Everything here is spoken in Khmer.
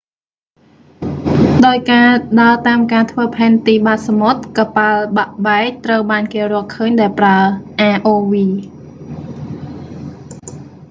ដោយការដើរតាមការធ្វើផែនទីបាតសមុទ្រ កប៉ាល់បាក់បែកត្រូវបានគេរកឃើញដោយប្រើ rov